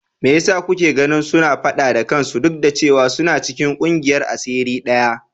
Me yasa kuke ganin suna fada da kansu duk da cewa suna cikin kungiyar asiri daya?